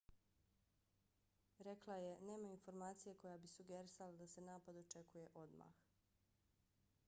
rekla je nema informacije koja bi sugerisala da se napad očekuje odmah